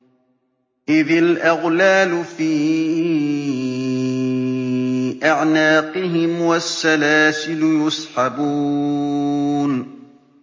إِذِ الْأَغْلَالُ فِي أَعْنَاقِهِمْ وَالسَّلَاسِلُ يُسْحَبُونَ